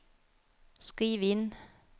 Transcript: skriv inn